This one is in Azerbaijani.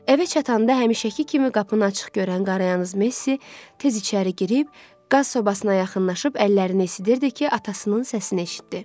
Evə çatanda həmişəki kimi qapını açıq görən Qarayanyaz Messi tez içəri girib, qaz sobasına yaxınlaşıb əllərini esidirdi ki, atasının səsini eşitdi.